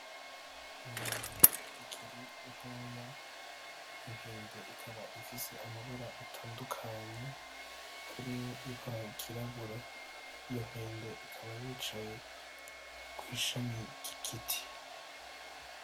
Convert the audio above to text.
Inkende ikiri ntoya ifise amabara atandukanye harimwo ibara ry'irabura, ikaba yicaye kw'ishami ry'igiti.